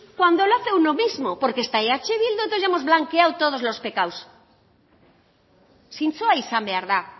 cuando lo hace uno mismo porque está eh bildu entonces ya hemos blanqueado todos los pecados zintzoa izan behar da